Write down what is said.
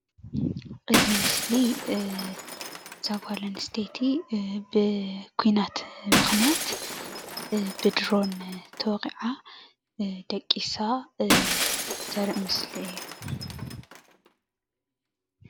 እዚ ምስሊ እዛ ጓል ኣንስተይቲ ብኩናት ምክንያት ብድሮን ተወቂዓ ደቂሳ ዘርኢ ምስሊ እዩ፡፡